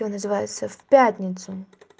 и он называется в пятницу